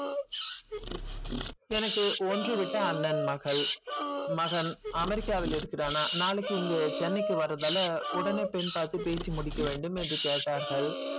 எனக்கு ஒன்று விட்ட அண்ணன் மகள் மகன் america வில் இருக்கிறானா நாளைக்கு இங்கு chennai க்கு வரர்தால உடனே பெண் பார்த்து பேசி முடிக்க வேண்டும் என்று கேட்டார்கள்.